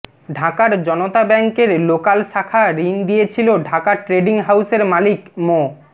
ঢাকার জনতা ব্যাংকের লোকাল শাখা ঋণ দিয়েছিল ঢাকা ট্রেডিং হাউসের মালিক মো